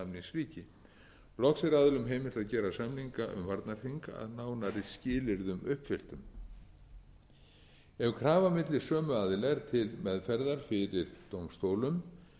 samningsríki loks er aðilum heimilt að gera samninga um varnarþing að nánari skilyrðum uppfylltum ef krafa milli sömu aðila er til meðferðar fyrir dómstólum